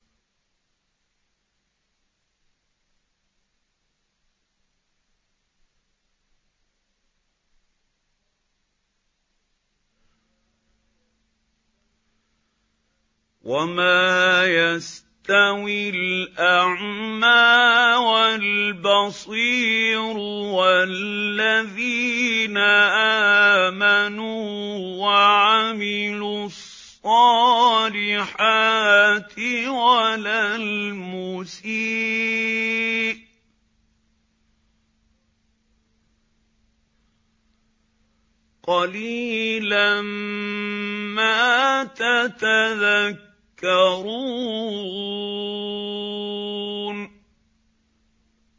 وَمَا يَسْتَوِي الْأَعْمَىٰ وَالْبَصِيرُ وَالَّذِينَ آمَنُوا وَعَمِلُوا الصَّالِحَاتِ وَلَا الْمُسِيءُ ۚ قَلِيلًا مَّا تَتَذَكَّرُونَ